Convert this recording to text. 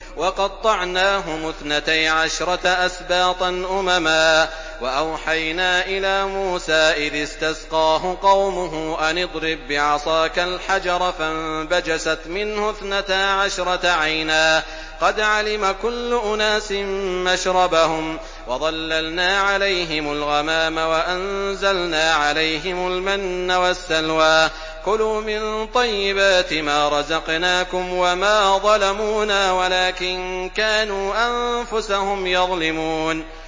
وَقَطَّعْنَاهُمُ اثْنَتَيْ عَشْرَةَ أَسْبَاطًا أُمَمًا ۚ وَأَوْحَيْنَا إِلَىٰ مُوسَىٰ إِذِ اسْتَسْقَاهُ قَوْمُهُ أَنِ اضْرِب بِّعَصَاكَ الْحَجَرَ ۖ فَانبَجَسَتْ مِنْهُ اثْنَتَا عَشْرَةَ عَيْنًا ۖ قَدْ عَلِمَ كُلُّ أُنَاسٍ مَّشْرَبَهُمْ ۚ وَظَلَّلْنَا عَلَيْهِمُ الْغَمَامَ وَأَنزَلْنَا عَلَيْهِمُ الْمَنَّ وَالسَّلْوَىٰ ۖ كُلُوا مِن طَيِّبَاتِ مَا رَزَقْنَاكُمْ ۚ وَمَا ظَلَمُونَا وَلَٰكِن كَانُوا أَنفُسَهُمْ يَظْلِمُونَ